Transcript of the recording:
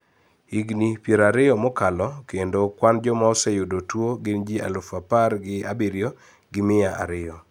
Higni pier ariyo mokalo kendo kwan joma oseyudo tuo gin ji aluf apar gi abiriyo gi mia ariyo